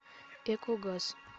экогаз